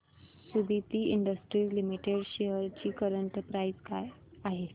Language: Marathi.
सुदिति इंडस्ट्रीज लिमिटेड शेअर्स ची करंट प्राइस काय आहे